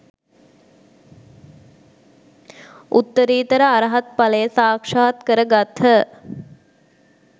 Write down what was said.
උත්තරීතර අරහත්ඵලය සාක්‍ෂාත් කරගත්හ